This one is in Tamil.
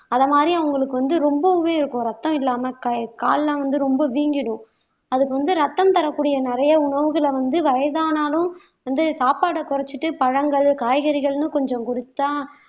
அத மாதிரி அவங்களுக்கு வந்து ரொம்பவே இருக்கும் ரத்தம் இல்லாம கை கால் எல்லாம் வந்து ரொம்ப வீங்கிடும் அதுக்கு வந்து இரத்தம் தரக்கூடிய நிறைய உணவுகளை வந்து வயதானாலும் வந்து சாப்பாட குறைச்சிட்டு பழங்கள் காய்கறிகள்னு கொஞ்சம் கொடுத்தா